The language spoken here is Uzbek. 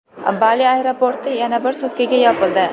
Bali aeroporti yana bir sutkaga yopildi.